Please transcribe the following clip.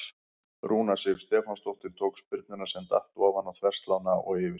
Rúna Sif Stefánsdóttir tók spyrnuna sem datt ofan á þverslánna og yfir.